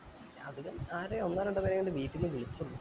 രാവിലെ ആകെ ഒന്നോ രണ്ടോ പേരെ അങ്ങാണ് വീട്ടിന്ന് വിളിച്ചിന്